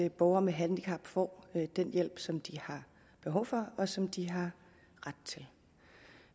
at borgere med handicap får den hjælp som de har behov for og som de har ret til